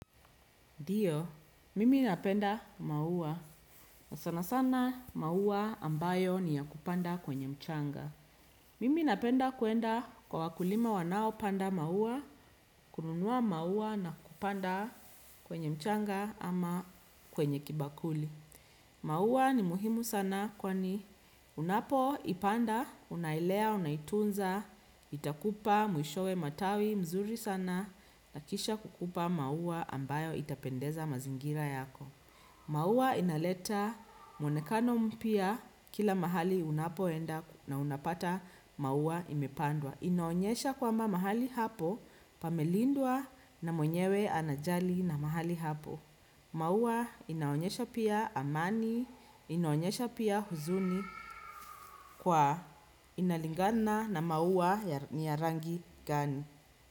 Ndio, mimi napenda maua na sana sana maua ambayo ni ya kupanda kwenye mchanga. Mimi napenda kuenda kwa wakulima wanaopanda maua, kununua maua na kupanda kwenye mchanga ama kwenye kibakuli. Maua ni muhimu sana kwani unapo ipanda, unailea, unaitunza, itakupa mwishowe matawi mzuri sana na kisha kukupa maua ambayo itapendeza mazingira yako. Maua inaleta mwonekano mpya kila mahali unapoenda na unapata maua imepandwa. Inaonyesha kwamba mahali hapo, pamelindwa na mwenyewe anajali na mahali hapo. Maua inaonyesha pia amani, inaonyesha pia huzuni kwa inalingana na maua ni ya rangi gani.